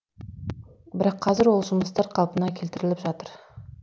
бірақ қазір ол жұмыстар қалпына келтіріліп жатыр